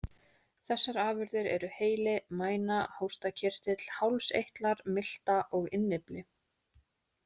Þessar afurðir eru heili, mæna, hóstarkirtill, hálseitlar, milta og innyfli.